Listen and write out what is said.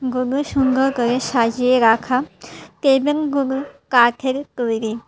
খুবই সুন্দর করে সাজিয়ে রাখা টেবিলগুলো কাঠের তৈরি।